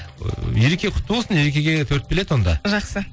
ыыы ереке құтты болсын ерекеге төрт билет онда жақсы